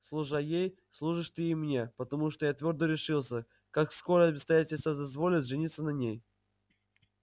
служа ей служишь ты и мне потому что я твёрдо решился как скоро обстоятельства дозволят жениться на ней